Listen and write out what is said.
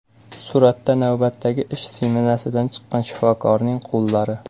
Suratda navbatdagi ish smenasidan chiqqan shifokorning qo‘llari.